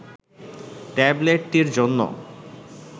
ট্যাবলেটটির জন্য